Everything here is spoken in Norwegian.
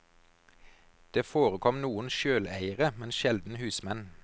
Det forekom noen sjøleiere, men sjelden husmenn.